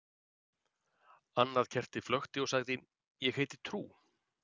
Annað kertið flökti og sagði: Ég heiti trú.